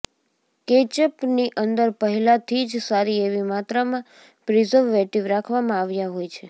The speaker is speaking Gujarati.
કેચઅપની અંદર પહેલાથી જ સારી એવી માત્રામાં પ્રિઝર્વેટિવ રાખવામાં આવ્યા હોય છે